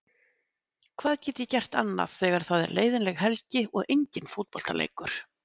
Hvað get ég gert annað þegar það er leiðinleg helgi og engin fótboltaleikur?